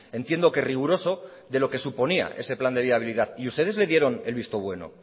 entiendo que riguroso de lo que suponía ese plan de viabilidad y ustedes le dieron el visto bueno